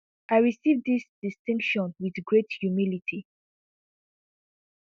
i receive dis distinction wit great humility